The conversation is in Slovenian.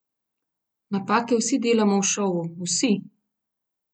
Napake vsi delamo v šovu, vsi!